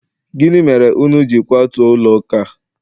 gini mere unu ji kwatu ulo uka?